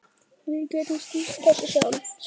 Við getum stýrt þessu sjálf.